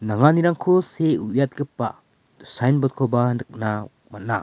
nanganirangko see uiatgipa signboard -koba nikna man·a.